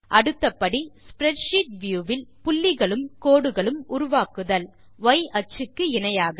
அடுத்த படி spreadsheet view வில் புள்ளிகளும் கோடுகளும் உருவாக்குதல் ய் அச்சுக்கு இணையாக